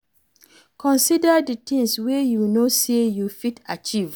Consider di things wey you know sey you fit achieve